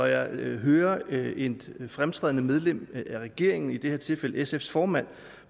jeg hørte et fremtrædende medlem af regeringen i det her tilfælde sfs formand